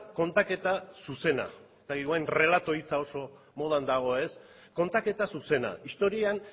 kontaketa zuzena ez dakit igual errelato hitza oso modan dago ez kontaketa zuzena historian